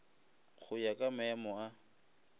go ya ka maemo a